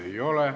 Ei ole.